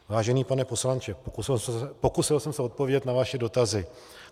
Vážený pane poslanče, pokusil jsem se odpovědět na vaše dotazy.